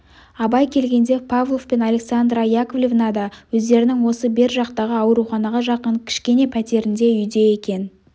абай келгенде павлов пен александра яковлевна да өздерінің осы бер жақтағы ауруханаға жақын кішкене пәтерінде үйде екен